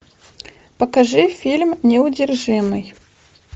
покажи фильм неудержимый